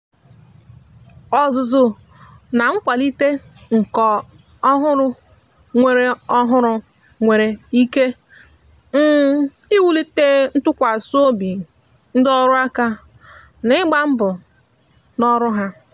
ọzụzụ na nkwalite nka ọhụrụ nwere ọhụrụ nwere ike um iwulite ntụkwasị obi ndị ọrụ aka ná ịgba mbọ ná ọrụ ha.